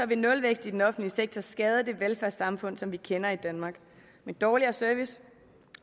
vil nulvækst i den offentlige sektor skade det velfærdssamfund som vi kender i danmark med dårligere service